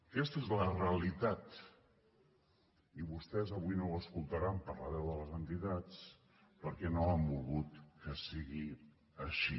aquesta és la realitat i vostès avui no ho escoltaran per la veu de les entitats perquè no han volgut que sigui així